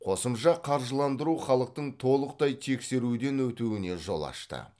қосымша қаржыландыру халықтың толықтай тексеруден өтуіне жол ашты